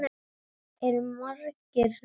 Eru margir sem falla?